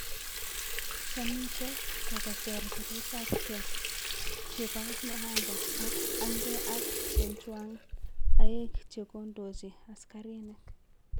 Chanito ko koter piretap nge chepo Nehanda ak agnge ak chechwang aeg che kondoji askarinik